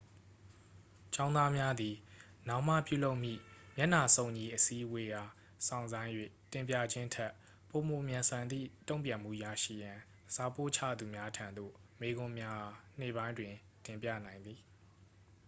ကျောင်းသားများသည် နောက်မှပြုလုပ်မည့် မျက်နှာစုံညီအစည်းအဝေးအား စောင့်ဆိုင်း၍ တင်ပြခြင်းထက် ပိုမိုမြန်ဆန်သည့် တုံ့ပြန်မှုရရှိရန် စာပို့ချသူများထံသို့ မေးခွန်းများအား နေ့ပိုင်းတွင် တင်ပြနိုင်သည်